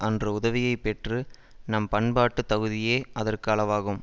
அன்று உதவியை பெற்று நம் பண்பாட்டு தகுதியே அதற்கு அளவாகும்